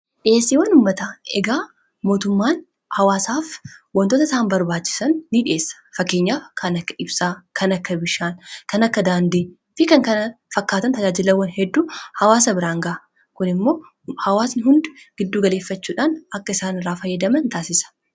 Dhiheessiiwwan uummataa egaa mootummaan hawaasaaf waantota isaan barbaachisan nidhiyeessa. Fakkeenyaaf kan akka ibsaa, kan akka bishaanii, kan akka daandiifi kan kana fakkaatan tajaajilaawwan hedduu hawaasa biraan ga'a. Kun immoo hawaasni hundi gidduugaleeffachuudhaan akka isaan irraa fayyadaman taasisa.